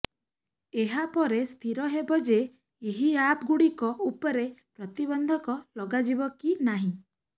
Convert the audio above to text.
ଏହାପରେ ସ୍ଥିର ହେବ ଯେ ଏହି ଆପ୍ ଗୁଡ଼ିକ ଉପରେ ପ୍ରତିବନ୍ଧକ ଲଗାଯିବ କି ନାହିଁ